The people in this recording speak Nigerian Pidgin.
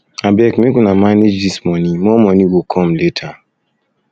abeg make una manage dis money more money more go come later